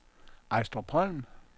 Ejstrupholm